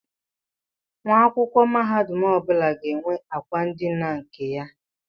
Nwa akwụkwọ mahadum ọbụla ga-enwe akwa ndina nke ya.